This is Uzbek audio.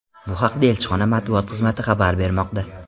Bu haqda elchixona matbuot xizmati xabar bermoqda .